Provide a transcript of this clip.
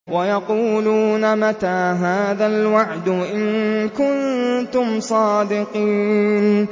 وَيَقُولُونَ مَتَىٰ هَٰذَا الْوَعْدُ إِن كُنتُمْ صَادِقِينَ